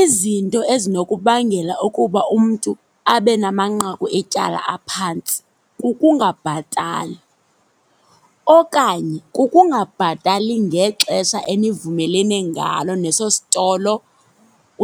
Izinto ezinokubangela ukuba umntu abe namanqaku etyala aphantsi kukungabhatali. Okanye kukungabhatali ngexesha enivumelene ngalo neso sitolo